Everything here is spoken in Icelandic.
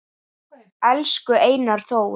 Elsku Einar Þór